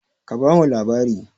Ka ba mu labari!